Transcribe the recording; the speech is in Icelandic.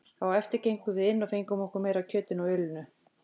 Á eftir gengum við inn og fengum okkur meira af kjötinu og ölinu.